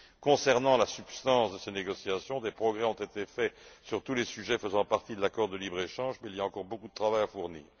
Concernant la substance de ces négociations, des progrès ont été réalisés sur tous les sujets faisant partie de l'accord de libre échange, mais il y a encore beaucoup de travail à fournir.